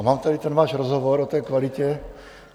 A mám tady ten váš rozhovor o té kvalitě.